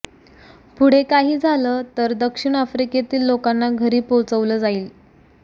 पुढे काही झालं तर दक्षिण आफ्रिकेतील लोकांना घरी पोहोचवलं जाईल